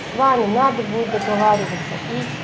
с вами надо будет договариваться и